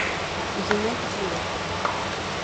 юнайтед ливерпуль